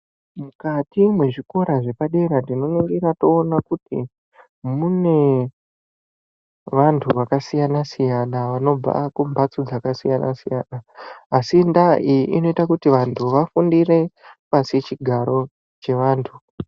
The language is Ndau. Mukati mwezvikora zvepadera tinonongira toona kuti mune vantu vakasiyana-siyana vanobva kumbatso dzakasiyana-siyana. Asi ndaa iyi inoita kuti vantu vafundire pasi chigare chevantu.